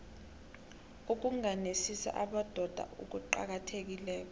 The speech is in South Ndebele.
ukungenisa abobaba kucakathekile